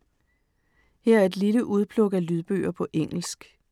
Her er et lille udpluk af lydbøger på engelsk.